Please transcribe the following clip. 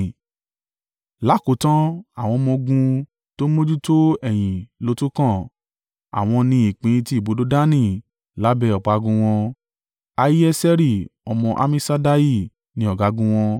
Lákòótan, àwọn ọmọ-ogun tó ń mójútó ẹ̀yìn ló tún kàn, àwọn ni ìpín ti ibùdó Dani lábẹ́ ọ̀págun wọn. Ahieseri ọmọ Ammiṣaddai ni ọ̀gágun wọn.